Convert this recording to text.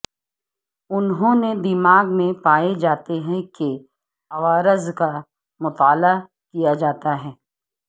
انہوں نے دماغ میں پائے جاتے ہیں کہ عوارض کا مطالعہ کیا جاتا ہے